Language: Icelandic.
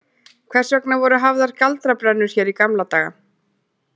Hvers vegna voru hafðar galdrabrennur hér í gamla daga?